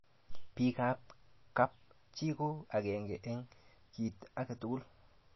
bik ab kap chi ko akenge eng kit akatugul